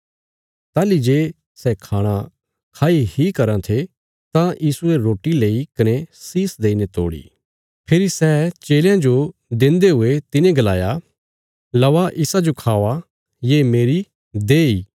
ताहली जे सै खाणा खाई इ कराँ थे तां यीशुये रोटी लेई कने शीष देईने तोड़ी फेरी सै चेलयां जो देन्दे हुये तिने गलाया लवा इसाजो खावा ये मेरी देह इ